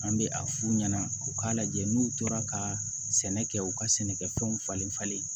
An bɛ a f'u ɲɛna u k'a lajɛ n'u tora ka sɛnɛ kɛ u ka sɛnɛkɛfɛnw falen falen